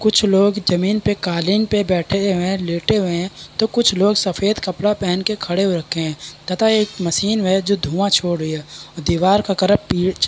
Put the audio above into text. कुछ लोग जमीन पे कालीन पे बैठे हुए है लेटे हुए है तो कुछ लोग सफ़ेद कपड़ा पहने के खड़े हो रखे है तथा एक मशीन है जो धुआ छोड़ रही है दीवार का कलर पीच --